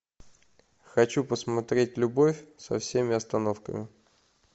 хочу посмотреть любовь со всеми остановками